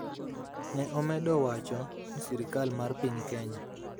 Ne omedo wacho ni sirkal mar piny Kenya